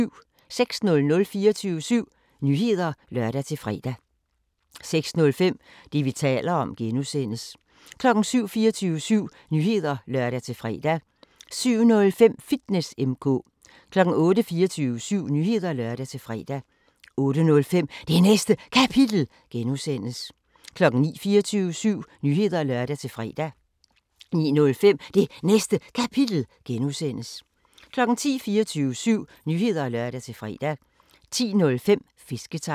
06:00: 24syv Nyheder (lør-fre) 06:05: Det, vi taler om (G) 07:00: 24syv Nyheder (lør-fre) 07:05: Fitness M/K 08:00: 24syv Nyheder (lør-fre) 08:05: Det Næste Kapitel (G) 09:00: 24syv Nyheder (lør-fre) 09:05: Det Næste Kapitel (G) 10:00: 24syv Nyheder (lør-fre) 10:05: Fisketegn